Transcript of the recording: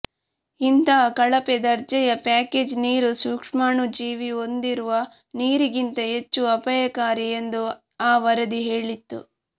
ಇಂತಹ ಕಳಪೆ ದರ್ಜೆಯ ಪ್ಯಾಕೇಜ್ಡ್ ನೀರು ಸೂಕ್ಷ್ಮಾಣುಜೀವಿ ಹೊಂದಿರುವ ನೀರಿಗಿಂತ ಹೆಚ್ಚು ಅಪಾಯಕಾರಿ ಎಂದು ಆ ವರದಿ ಹೇಳಿತ್ತು